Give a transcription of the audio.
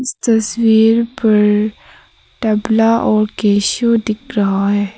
इस तस्वीर पर तबला और केशू दिख रहा है।